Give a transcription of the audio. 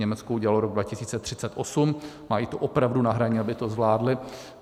Německo udělalo rok 2038, mají to opravdu na hraně, aby to zvládli.